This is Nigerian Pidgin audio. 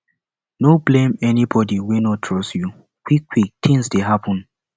no blame anybodi wey no trust you quickquick tins dey happen